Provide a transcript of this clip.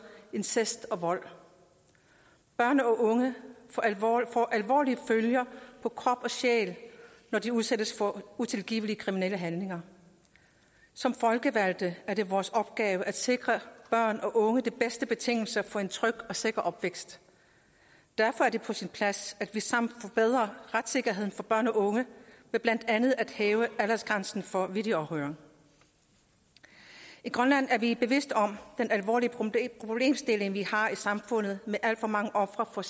incest og vold børn og unge får alvorlige følger på krop og sjæl når de udsættes for utilgivelige kriminelle handlinger som folkevalgte er det vores opgave at sikre børn og unge de bedste betingelser for en tryg og sikker opvækst derfor er det på sin plads at vi sammen forbedrer retssikkerheden for børn og unge ved blandt andet at hæve aldersgrænsen for videoafhøring i grønland er vi bevidste om den alvorlige problemstilling vi har i samfundet med alt for mange ofre for